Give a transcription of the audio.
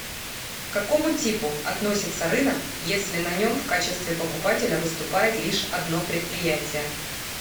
к какому типу относится рынок если на нем в качестве покупателя выступает лишь одно предприятие